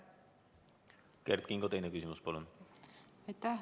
Kert Kingo, teine küsimus, palun!